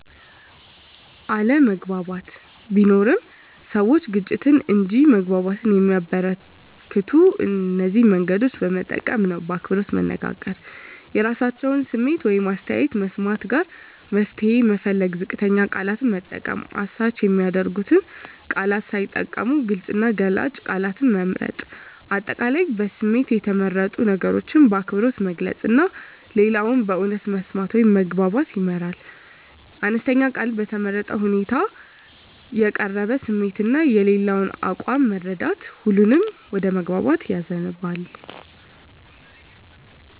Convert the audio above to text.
አለመግባባት ቢኖርም፣ ሰዎች ግጭትን እንጂ መግባባትን የሚያበረከቱት እነዚህን መንገዶች በመጠቀም ነው በአክብሮት መናገር – የራሳቸውን ስሜት ወይም አስተያየት መስማት ጋራ መፍትሄ መፈለግ ዝቅተኛ ቃላት መጠቀም – አሳች የሚያደርጉ ቃላት ሳይጠቀሙ ግልጽ እና ገላጭ ቃላት መምረጥ። አጠቃላይ በስሜት የተመረጡ ነገሮችን በአክብሮት መግለጽ እና ሌላውን በእውነት መስማት ወደ መግባባት ያመራል። አነስተኛ ቃል በተመረጠ ሁኔታ የተቀረበ ስሜት እና የሌላው አቋም መረዳት ሁሉንም ወደ መግባባት ያዘንባል።